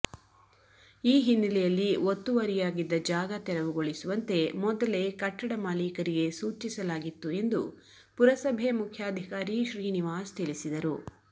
ಈ ಹಿನ್ನೆಲೆಯಲ್ಲಿ ಒತ್ತುವರಿಯಾಗಿದ್ದ ಜಾಗ ತೆರವುಗೊಳಿಸುವಂತೆ ಮೊದಲೇ ಕಟ್ಟಡ ಮಾಲೀಕರಿಗೆ ಸೂಚಿಸಲಾಗಿತ್ತು ಎಂದು ಪುರಸಭೆ ಮುಖ್ಯಾಧಿಕಾರಿ ಶ್ರೀನಿವಾಸ್ ತಿಳಿಸಿದರು